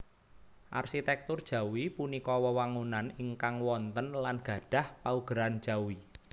Arsitèktur Jawi punika wewangunan ingkang wonten lan gadhah paugeran jawi